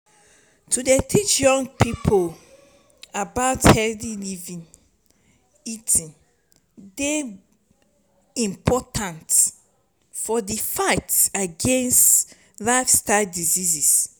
to dey teach young pipo about healthy eating dey important for di fight against lifestyle diseases.